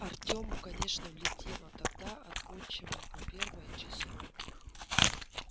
артему конечно влетело тогда от отчима по первое число